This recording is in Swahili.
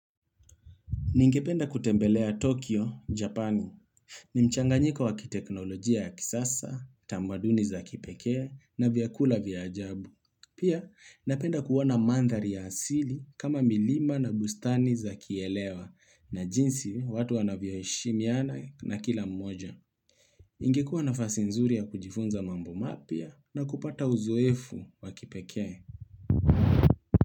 Ningependa kutembelea Tokyo, Japani. Ni mchanganyiko wa kiteknolojia ya kisasa, tamaduni za kipekee, na vyakula vya ajabu. Pia, napenda kuona mandhari ya asili kama milima na bustani za kielewa na jinsi watu wanavyoheshimiana na kila mmoja. Ingekuwa nafasi nzuri ya kujifunza mambo mapya na kupata uzoefu wa kipekee.